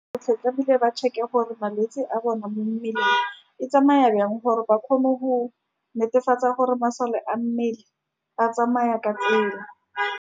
Botlhe tlamehile ba check-e gore malwetse a bone mo mmeleng e tsamaya bjang, gore ba kgone go netefatsa gore masole a mmele a tsamaya ka tsela.